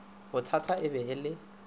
bothata e be e le